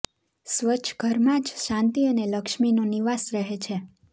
સ્વચ્છ ઘરમાં જ સુખ શાંતિ અને લક્ષ્મીનો નિવાસ રહે છે